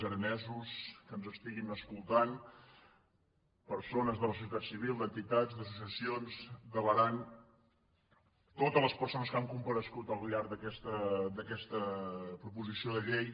aranesos que ens estiguin escoltant per·sones de la societat civil d’entitats d’associacions de l’aran totes les persones que han comparegut al llarg d’aquesta proposició de llei